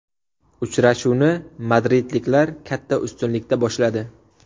Uchrashuvni madridliklar katta ustunlikda boshladi.